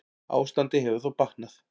Ástandið hefur þó batnað.